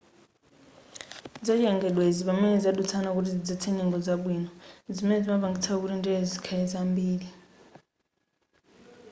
zachilengedwezi pamene zadutsana kuti zidzetse nyengo zabwino zimene zimapangitsa kuti ndelezi zikhale zambiri